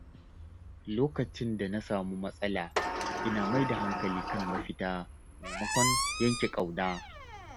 Lokacin da na samu matsala, ina mai da hankali kan mafita maimakon yanke ƙauna.